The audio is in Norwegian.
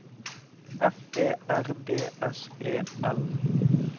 F E R D S E L